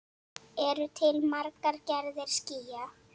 Eru til margar gerðir skýja?